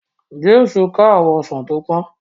James ká àwọn Ọsán tó pòn